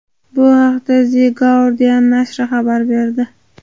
Bu haqda The Guardian nashri xabar berdi .